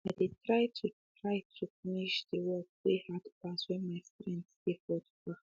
i de try to try to finsh de work wey hard pass when my strength de for far